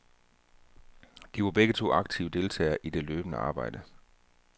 De var begge to aktive deltagere i det løbende arbejde.